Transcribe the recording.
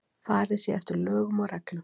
Farið sé eftir lögum og reglum